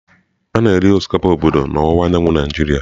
A na-eri osikapa obodo n'ọwụwa anyanwụ Naịjirịa.